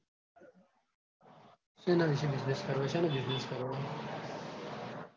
શેના વિશે business કરવો શેનો business કરવો?